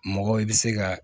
Mɔgɔ i bɛ se ka